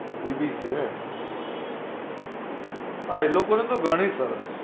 BBC ને હા એ લોકો ને તો ઘણી સરસ